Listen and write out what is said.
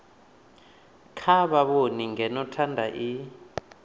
tsha vhavhoni ngeno thanda i